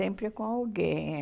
Sempre com alguém, é.